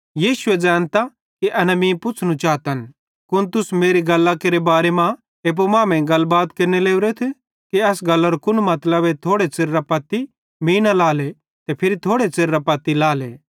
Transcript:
यीशुए एन ज़ैनतां कि एना मीं पुछ़नू चातन कुन तुस मेरी इस गल्लरे बारे मां एप्पू मांमेइं गलबात केरने लोरेथ कि एस गल्लारो कुन मतलबे थोड़े च़िरेरां पत्ती मीं न लाएले ते फिरी थोड़े च़िरेरां पत्ती लाएले